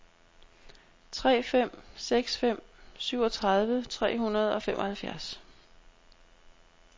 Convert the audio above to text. tre fem seks fem syvogtredive tre hundrede og femoghalvfjerds